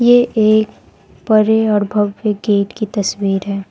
ये एक बड़े और भव्य गेट की तस्वीर है।